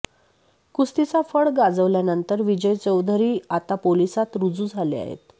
कुस्तीचा फड गाजवल्यानंतर विजय चौधरी आता पोलिसात रुजू झाले आहेत